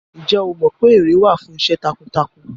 Ǹjẹ́ o mọ pé ère wà fún iṣẹ́ takuntakun?